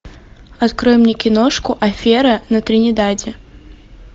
открой мне киношку афера на тринидаде